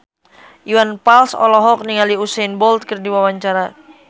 Iwan Fals olohok ningali Usain Bolt keur diwawancara